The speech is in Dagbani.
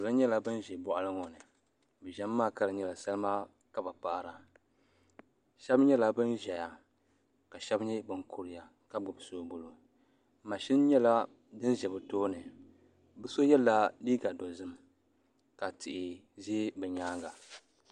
Salo nyɛla ban ʒɛ boɣali ŋo ni bi ʒimi maa ka di nyɛla salima ka bi paɣara shab nyɛla bin ʒɛya ka shab nyɛ bin kuriya ka gbubi soobuli mashin nyɛla din ʒɛ bi tooni bi shab yɛla liiga dozim ka tihi ʒɛ bi nyaanga